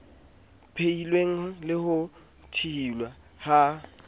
phehilweng le ho thuhiwa ha